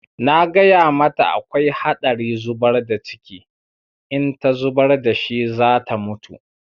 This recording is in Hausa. Na gaya mata akwai haɗari zubar da ciki, in ta zubar da shi za ta mutu.